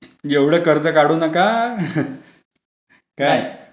एवढं कर्ज काढू नका काय.